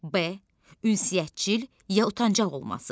B ünsiyyətcil ya utancaq olması.